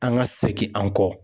An ka segin an kɔ.